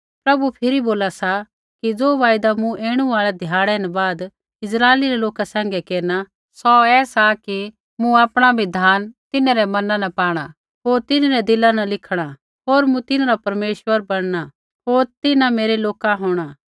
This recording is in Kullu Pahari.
प्रभु फिरी बोला सा कि ज़ो वायदा मूँ ऐणु आल़ै ध्याड़ै न बाद इस्राइली रै लोका सैंघै केरना सौ ऐ सा कि मूँ आपणा बिधान तिन्हरै मना न पाणा होर तिन्हरै दिला न लिखणा होर मूँ तिन्हरा परमेश्वर बणना होर तिन्हां मेरै लोक होंणा